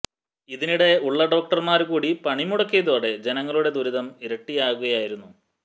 ഇതിനിടെ ഉള്ള ഡോക്ടര്മാര് കൂടി പണി മുടക്കിയതോടെ ജനങ്ങളുടെ ദുരിതം ഇരട്ടിയാകുകയായിരുന്നു